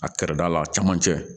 A kɛrɛda la a cɛmancɛ